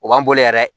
O b'an bolo yɛrɛ